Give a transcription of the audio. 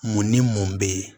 Mun ni mun bɛ yen